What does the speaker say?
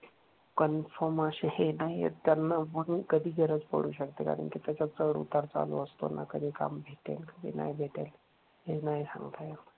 Confirm अशे हे नाही ए त्यांना म्हणून कधी गरज पडू शकते. कारण त्याच्यात चढउतार चालू असतो. त्यांना कधी काम भेटेल कधी नाही भेटेल. हे नाही सांगता येणार.